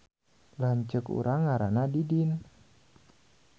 Lanceuk urang ngaranna Didin